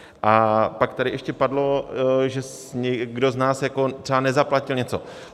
A pak tady ještě padlo, že kdo z nás třeba nezaplatil něco.